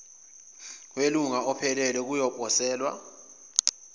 welunga ophelele kuyoposelwa